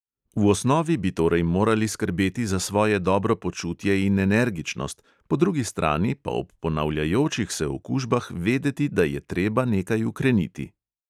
V osnovi bi torej morali skrbeti za svoje dobro počutje in energičnost, po drugi strani pa ob ponavljajočih se okužbah vedeti, da je treba nekaj ukreniti.